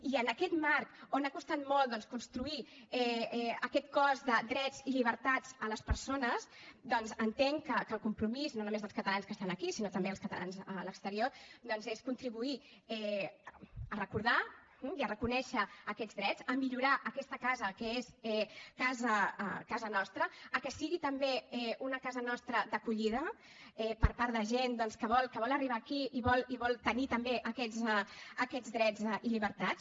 i en aquest marc on ha costat molt doncs construir aquest cos de drets i llibertats de les persones entenc que el compromís no només dels catalans que estan aquí sinó també dels catalans a l’exterior és contribuir a recordar i a reconèixer aquests drets a millorar aquesta casa que és casa nostra perquè sigui també una casa nostra d’acollida per part de gent que vol arribar aquí i vol tenir també aquests drets i llibertats